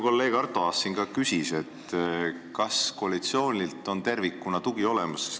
Kolleeg Arto Aas ka küsis, kas koalitsiooni tugi on tervikuna olemas.